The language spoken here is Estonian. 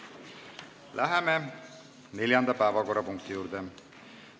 Läheme neljanda päevakorrapunkti juurde.